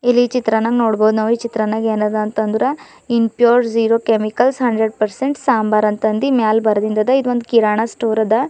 ಇಲ್ಲಿ ಚಿತ್ರನಾಗ್ ನೋಡ್ಬೋದು ನಾವು ಈ ಚಿತ್ರನಾಗ್ ಏನಾದ ಅಂದ್ರೆ impure zero chemicals hundred percent sambar ಅಂತ ಅಂದಿ ಮ್ಯಾಲ್ ಬಾರ್ದಿನ್ ಅದ ಒಂದ್ ಕಿರಾಣ ಸ್ಟೋರ್ ಅದ.